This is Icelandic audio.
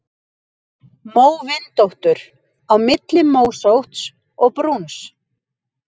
Móvindóttur: Á milli mósótts og brúns.